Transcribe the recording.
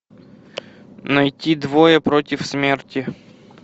найти двое против смерти